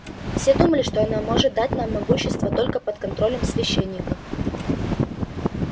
все думали что она может дать нам могущество только под контролем священников